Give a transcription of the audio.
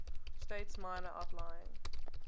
states minor outlying